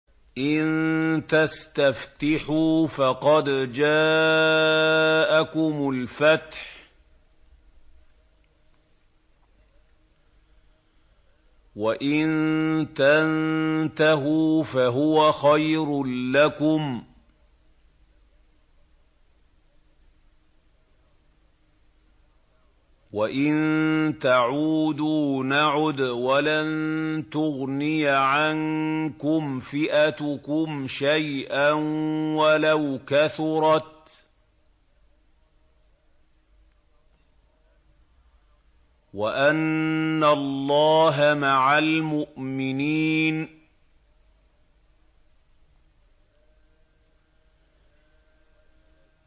إِن تَسْتَفْتِحُوا فَقَدْ جَاءَكُمُ الْفَتْحُ ۖ وَإِن تَنتَهُوا فَهُوَ خَيْرٌ لَّكُمْ ۖ وَإِن تَعُودُوا نَعُدْ وَلَن تُغْنِيَ عَنكُمْ فِئَتُكُمْ شَيْئًا وَلَوْ كَثُرَتْ وَأَنَّ اللَّهَ مَعَ الْمُؤْمِنِينَ